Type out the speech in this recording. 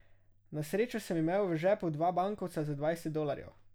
Na srečo sem imel v žepu dva bankovca za dvajset dolarjev.